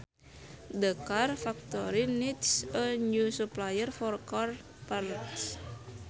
The car factory needs a new supplier for car parts